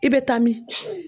I bɛ taa min?